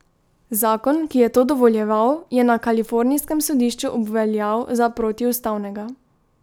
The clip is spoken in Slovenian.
Zakon, ki je to dovoljeval, je na kalifornijskem sodišču obveljal za protiustavnega.